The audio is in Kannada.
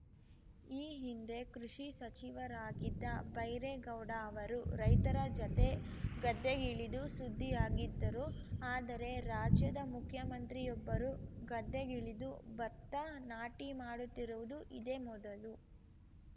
ಈ ಹಿಂದೆ ಕೃಷಿ ಸಚಿವರಾಗಿದ್ದ ಬೈರೇಗೌಡ ಅವರು ರೈತರ ಜತೆ ಗದ್ದೆಗಿಳಿದು ಸುದ್ದಿಯಾಗಿದ್ದರು ಆದರೆ ರಾಜ್ಯದ ಮುಖ್ಯಮಂತ್ರಿಯೊಬ್ಬರು ಗದ್ದೆಗಿಳಿದು ಭತ್ತ ನಾಟಿ ಮಾಡುತ್ತಿರುವುದು ಇದೇ ಮೊದಲು